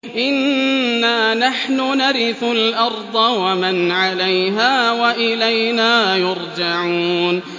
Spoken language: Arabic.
إِنَّا نَحْنُ نَرِثُ الْأَرْضَ وَمَنْ عَلَيْهَا وَإِلَيْنَا يُرْجَعُونَ